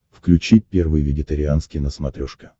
включи первый вегетарианский на смотрешке